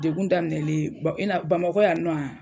Dekun daminɛlen i na Bamakɔ yaN nɔ